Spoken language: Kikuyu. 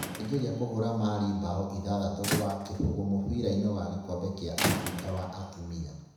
Nigeria kũhũũra Mali mbao ithathatu gwa kĩbũgũ mũbira-inĩ wa gikombe kia Africa wa atumia